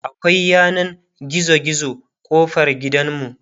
akwai yanan gizo gizo kofar gidanmu